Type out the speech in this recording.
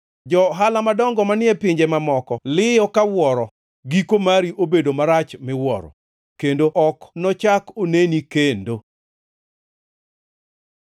Jo-ohala madongo manie pinje mamoko liyo ka wuoro; giko mari obedo marach miwuoro, kendo ok nochak oneni kendo.’ ”